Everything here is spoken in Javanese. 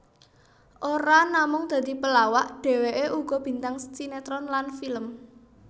Ora namung dadi pelawak dheweké uga bintang sinetron lan film